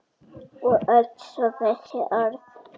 Og svo öll þessi orð.